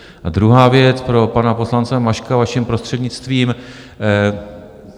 A druhá věc - pro pana poslance Maška, vaším prostřednictvím.